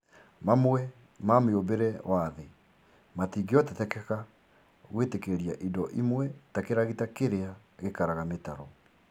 Mamwe ma mĩũmbĩre wa thĩ matingĩhotekeka gwĩtĩkĩria indo imwe ta kĩragita kĩrĩa gĩkaraga mĩtaro